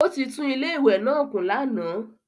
Ó ti tún ilé ìwẹ́ náà kùn lánàá.